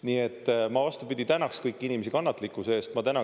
Nii et ma, vastupidi, tänasin kõiki inimesi kannatlikkuse eest!